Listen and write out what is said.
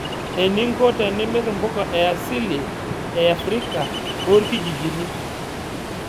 Eninko tenimir mpuka easili e afrika tooirkijijni.